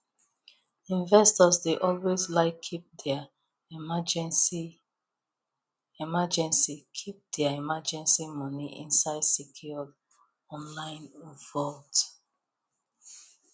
investors dey always like keep their emergency keep their emergency money inside secure online vault